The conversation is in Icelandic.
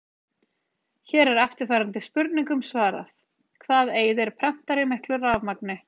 Hér er eftirfarandi spurningum svarað: Hvað eyðir prentari miklu rafmagni?